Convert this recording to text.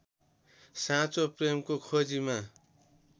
साँचो प्रेमको खोजीमा